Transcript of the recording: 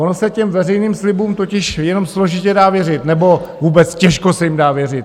Ono se těm veřejným slibům totiž jenom složitě dá věřit, nebo vůbec těžko se jim dá věřit.